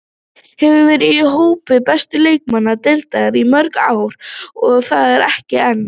Hefur verið í hópi bestu leikmanna deildarinnar í mörg ár og er þar enn.